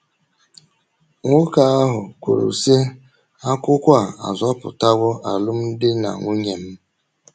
Nwoke ahụ kwuru, sị:: “ Akwụkwọ a azọpụtawo alụmdi na nwunye m! ”